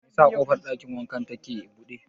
Me yasa ƙofar ɗakin wankan ta ke buɗe?